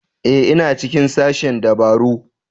Ee ina cikin sashen dabaru